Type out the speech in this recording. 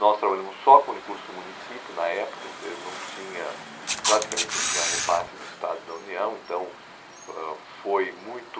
Nós trabalhamos só com recursos do município, na época você não tinha, praticamente não tinha repasse do Estado e da União, então ãh foi muito...